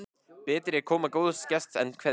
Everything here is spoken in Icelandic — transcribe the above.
Betri er koma góðs gests en kveðja.